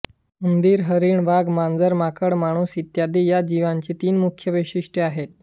उंदीर हरीण वाघ मांजर माकड माणूस इत्यादी या जीवांची तीन मुख्य वैशिष्ठ्ये आहेत